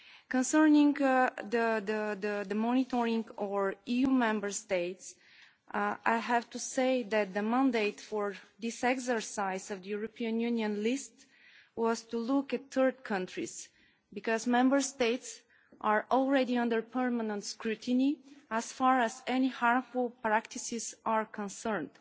Concerning the monitoring of EU Member States, I have to say that the mandate for this exercise of the European Union list was to look at third countries, because Member States are already under permanent scrutiny as far as any harmful practices are concerned.